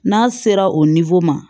N'a sera o ma